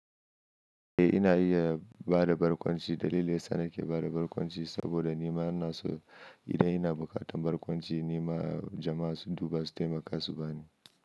Eh ina iya bada barkwanci. Dalili yasa nake bada barkwanci saboda nima ana so. Idan ina bukatan barkwanci nima jama'a su duba su taimaka su bani.